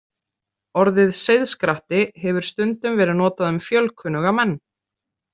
Orðið seiðskratti hefur stundum verið notað um fjölkunnuga menn.